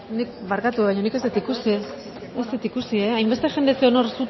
duzu barkatu baina nik ez dut ikusi hainbeste jende zegoen hor